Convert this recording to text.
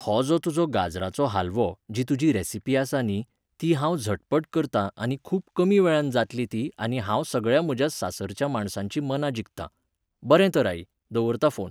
हो जो तुजो गाजराचो हालवो, जी तुजी रेसीपी आसा न्ही, ही हांव झटपट करतां आनी खूब कमी वेळांत जातली ती आनी हांव सगळ्या म्हज्या सासरच्या माणसांचीं मनां जिखतां. बरें तर आई, दवरतां फोन.